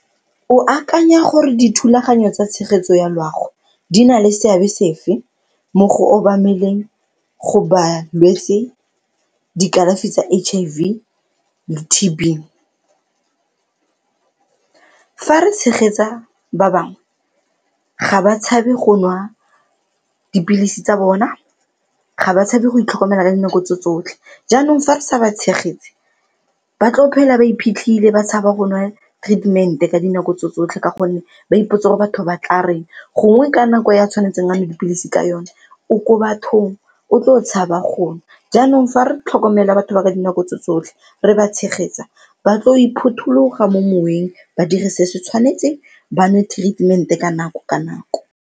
O akanya gore dithulaganyo tsa tshegetso ya loago di na le seabe sefe mo go obameleng go balwetse dikalafi tsa H_I_V le T_B? Fa re tshegetsa ba bangwe ga ba tshabe go nwa dipilisi tsa bona, ga ba tshabe go itlhokomela ka dinako tse tsotlhe. Jaanong fa re sa ba tshegetse, ba tlo phela ba iphitlhile ba tshaba go nwa treatment-e ka dinako tse tsotlhe ka gonne ba ipotsa gore batho ba tla reng gongwe ka nako ya tshwanetseng a nwe dipilisi ka yone o ko bathong o tlo tshaba go nwa, jaanong fa re tlhokomela batho ba ka dinako tse tsotlhe re ba tshegetsa ba tlo iphothulogile mo moweng ba dire se se tshwanetseng ba nwe treatment-e ka nako ka nako.